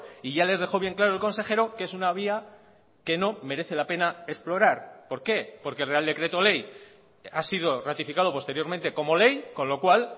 y ya les dejó bien claro el consejero que es una vía que no merece la pena explorar por qué porque el real decreto ley ha sido ratificado posteriormente como ley con lo cual